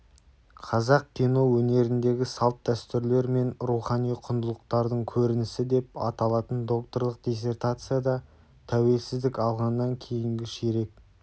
қазақ кино өнеріндегі салт-дәстүрлер мен рухани құндылықтардың көрінісі деп аталатын докторлық диссертацияда тәуелсіздік алғаннан кейінгі ширек